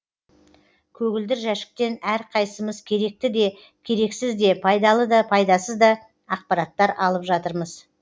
көгілдір жәшіктен әрқайсымыз керекті де керексіз де пайдалы да пайдасыз да ақпараттар алып жатырмыз